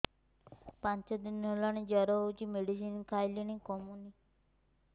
ପାଞ୍ଚ ଦିନ ହେଲାଣି ଜର ହଉଚି ମେଡିସିନ ଖାଇଲିଣି କମୁନି